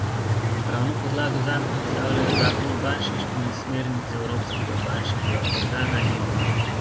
Pravno podlago zanj predstavljajo zakon o bančništvu in smernice evropskega bančnega organa Ebe.